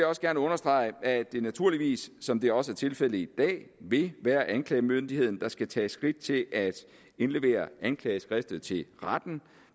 også gerne understrege at det naturligvis som det også er tilfældet i dag vil være anklagemyndigheden der skal tage skridt til at indlevere anklageskriftet til retten